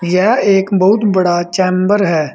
यह एक बहुत बड़ा चैंबर है।